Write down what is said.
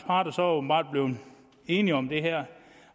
parter så åbenbart blevet enige om det her